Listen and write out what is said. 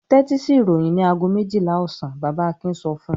"Tẹ́tí sí ìròyìn ní ago méjìlá ọ̀sán!" Bàbá Akin sọ fún un.